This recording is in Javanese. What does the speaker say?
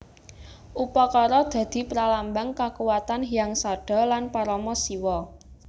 Upakara dadi pralambang kakuwatan Hyang Sadha lan Parama Siwa